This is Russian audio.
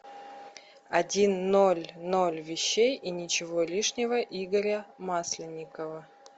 один ноль ноль вещей и ничего лишнего игоря масленникова